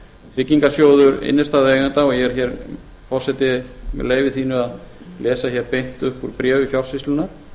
tryggingasjóður innstæðueigenda og ég er hér forseti með leyfi þínu að lesa hér beint upp úr bréfi fjársýslunnar